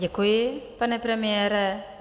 Děkuji, pane premiére.